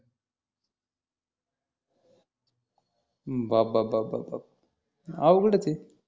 बाप बाप बाप बाप अं अवगडच आहे